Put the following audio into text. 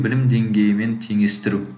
білім деңгейімен теңестіру